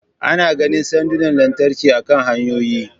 Ana ganin sandunan lantarki akan hanyoyi